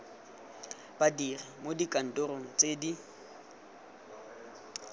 badiri mo dikantorong tse di